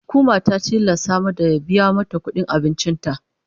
Hukuma ta tilasta mada ya biya ta kudin abincin ta.